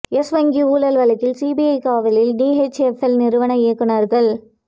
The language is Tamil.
யெஸ் வங்கி ஊழல் வழக்கு சிபிஐ காவலில் டிஎச்எப்எல் நிறுவன இயக்குனர்கள்